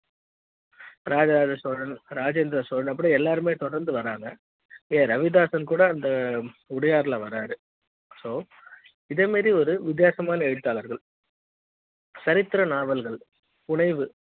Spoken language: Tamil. ராஜராஜ சோழன் ராஜேந்திர சோழன் அப்படியே எல்லாருமே தொடர்ந்து வராங்க ரவிதாசன் கூட அந்த உடையார் ல வராரு so இத மாதிரியான ஒரு வித்தியாசமான எழுத்தாளர்கள் சரித்திர நாவல்கள் புனைவு